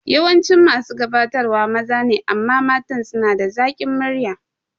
Yawancin masu gabatarwa maza ne amma matan suna da zakin murya